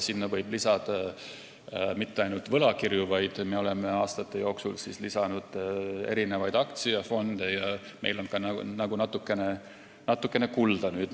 Sinna võib lisada muudki kui ainult võlakirju, me oleme aastate jooksul lisanud aktsiafonde ja meil on nüüd ka natukene kulda.